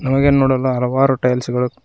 ಹಾಗೆ ನೋಡಲು ಹಲವಾರು ಟೈಲ್ಸ್ ಗಳು--